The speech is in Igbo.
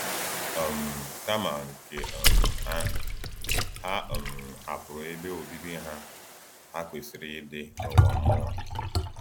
um Kama nke um ahụ, ha um hapụrụ ebe obibi ha ha kwesịrị ịdị n’ụwa mmụọ.